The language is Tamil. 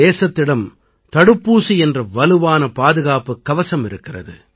தேசத்தில் விரைவாக முன்னெச்சரிக்கைத் தவணையும் போடப்பட்டு வருகிறது